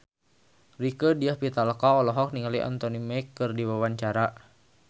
Rieke Diah Pitaloka olohok ningali Anthony Mackie keur diwawancara